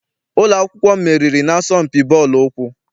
Ụlọ akwụkwọ m meriri na-asọmpi bọọlụ ụkwụ.